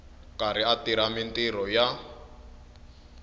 karhi a tirha mintirho ya